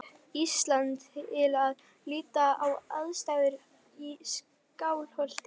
Íslands til að líta á aðstæður í Skálholti.